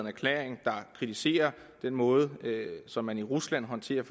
erklæring der kritiserer den måde som man i rusland håndterer